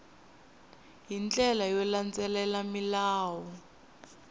hi ndlela yo landzelela milawu